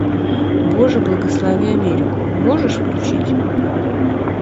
боже благослови америку можешь включить